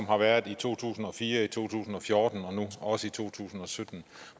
har været i to tusind og fire i to tusind og fjorten og nu også i to tusind og sytten